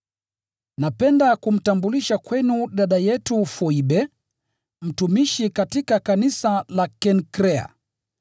Napenda kumtambulisha kwenu dada yetu Foibe, mtumishi katika kanisa la Kenkrea.